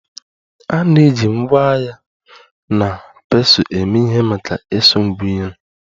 A na-eji ngwa agha na pestle eme ihe maka isu Ngwa nri